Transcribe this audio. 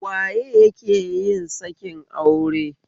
Waye ya keyin sakin aure?